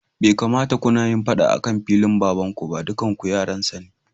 Bai kamata kunayin faɗa akan filin baban kuba dukanku yaransa ne.